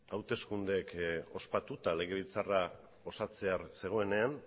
hauteskundeak ospatu eta legebiltzarra osatzear zegoenean